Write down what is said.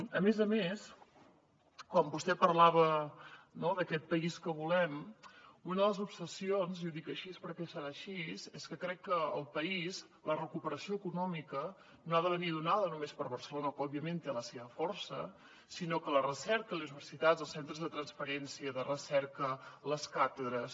a més a més quan vostè parlava no d’aquest país que volem una de les obsessions i ho dic així perquè serà així és que crec que al país la recuperació econòmica no ha de venir donada només per barcelona que òbviament té la seva força sinó que la recerca les universitats els centres de transferència i de recerca les càtedres